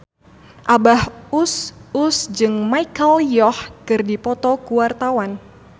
Abah Us Us jeung Michelle Yeoh keur dipoto ku wartawan